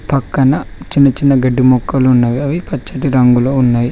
పక్కన చిన్న చిన్న గడ్డి మొక్కలు ఉన్నవి అవి పచ్చటి రంగులో ఉన్నాయి.